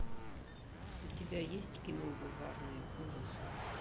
у тебя есть кино бульварные ужасы